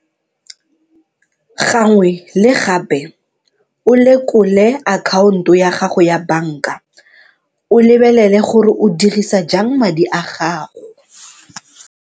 Gangwe le gape o lekole akhaonto ya gago ya banka o lebelele gore o dirisa jang madi a gago.